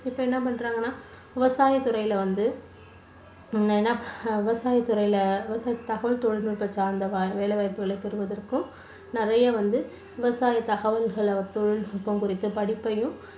இப்போ என்ன பண்றாங்கன்னா விவசாய துறைல வந்து என்ன ஆஹ் விவசாய துறையில விவசாய தகவல் தொழில்நுட்ப சார்ந்த வேலைவாய்ப்புகளை பெறுவதற்கும் நிறைய வந்து விவசாய தகவல்களை தொழில்நுட்பம் குறித்த படிப்பையும்